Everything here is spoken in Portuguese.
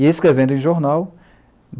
E escrevendo em jornal.